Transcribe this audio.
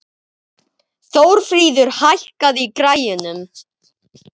Þórfríður, hækkaðu í græjunum.